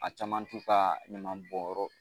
A caman t'u ka ɲaman bɔn yɔrɔ